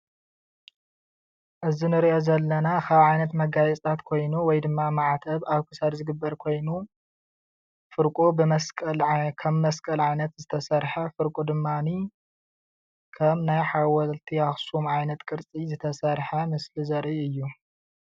እዚ እንሪኦ ዘለና ካብ ዓይነታት መጋየፂ ኮይኑ ወይድማ ማዕተብ ኣብ ክሳድካ ዝግበር ኮይኑ ፍርቁ ከም መስቀል ዓይነት ዝተሰርሐ ፍርቁ ድማኒ ከም ናይ ሓወልቲ ኣክሱም ዓይነት ቅርፂ ዝተሰረሐ ምስሊ ዘርኢ እዩ።